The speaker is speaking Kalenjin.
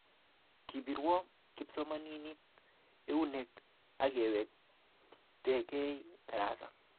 Kipirwo kipsomaninik eunek akewektekei tarasa